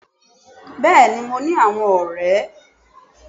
Béèni mo ní àwon ọ̀rẹ́